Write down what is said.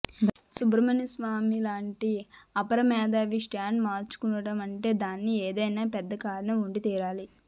సుబ్రమణ్య స్వామి లాంటి అపర మేధావి స్టాండ్ మార్చుకున్నాడంటే దానికి ఏదైనా పెద్ద కారణం ఉండి తీరాలి